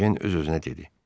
Ejen öz-özünə dedi.